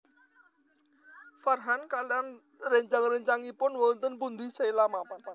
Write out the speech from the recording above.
Farhan kaliyan réncang réncangipun wonten pundi Sheila mapan